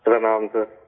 پرنام سر